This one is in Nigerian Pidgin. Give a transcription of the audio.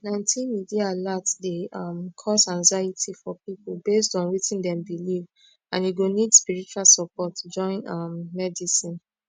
plenty media alert dey um cause anxiety for people based on wetin dem believe and e go need spiritual support join um medicine